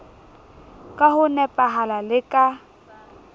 ka ho nepahala le ka